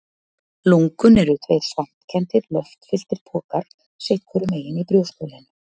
Lungun eru tveir svampkenndir, loftfylltir pokar sitt hvorum megin í brjóstholinu.